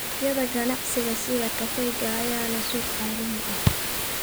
Dalagyada ganacsiga sida kafeega ayaa leh suuq caalami ah.